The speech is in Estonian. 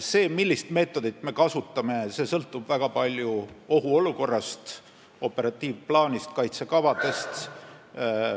See, millist meetodit me kasutame, sõltub väga palju ohuolukorrast, operatiivplaanist, kaitsekavadest.